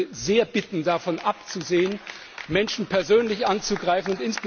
Ich würde sehr darum bitten, davon abzusehen, Menschen persönlich anzugreifen.